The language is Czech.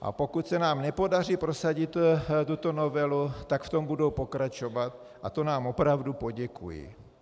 A pokud se nám nepodaří prosadit tuto novelu, tak v tom budou pokračovat, a to nám opravdu poděkují.